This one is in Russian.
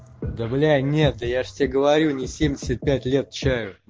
да бля нет я же тебе говорю не семьдесят пять лет чаю